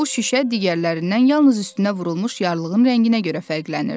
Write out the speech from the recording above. Bu şüşə digərlərindən yalnız üstünə vurulmuş yarlığın rənginə görə fərqlənirdi.